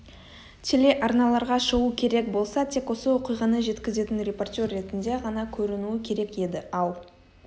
телеарналарға шығу керек болса тек осы оқиғаны жеткізетін репортер ретінде ғана көрінуі керек еді ал